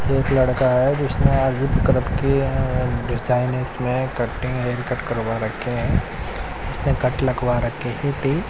ये एक लड़का है जिसने आज किए है डिजाइन इसमें कटिंग हेयर कट करवा रखे हैं इसने कट लगवा रखे है डीप --